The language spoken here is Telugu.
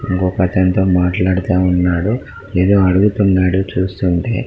కోపంతో మాట్లాడుతూ ఉన్నాడు ఏదో అడుగుతున్నాడు చూస్తూ ఉంటె